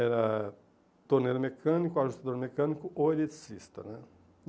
Era torneiro mecânico, ajustador mecânico ou eletricista né.